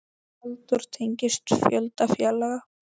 Halldór tengist fjölda félaga.